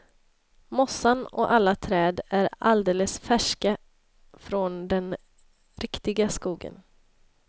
Mossan och alla träd är alldeles färska från den riktiga skogen.